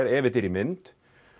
ef þetta er í mynd